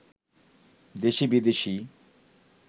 দেশি বিদেশি